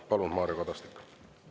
Palun, Mario Kadastik!